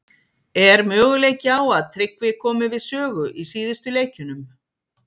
Er möguleiki á að Tryggvi komi við sögu í síðustu leikjunum?